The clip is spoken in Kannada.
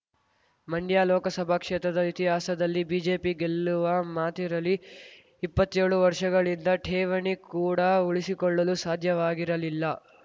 ಮಂಡ್ಯ ಲೋಕಸಭಾ ಕ್ಷೇತ್ರದ ಇತಿಹಾಸದಲ್ಲಿ ಬಿಜೆಪಿ ಗೆಲ್ಲುವ ಮಾತಿರಲಿ ಇಪ್ಪತ್ತೇಳು ವರ್ಷಗಳಿಂದ ಠೇವಣಿ ಕೂಡ ಉಳಿಸಿಕೊಳ್ಳಲೂ ಸಾಧ್ಯವಾಗಿರಲಿಲ್ಲ